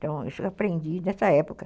Então, isso eu aprendi nessa época.